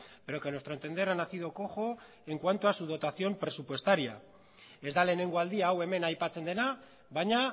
pero que a nuestro entender ha nacido cojo en cuanto a su dotación presupuestario ez da lehenengo aldia hau hemen aipatzen dena baina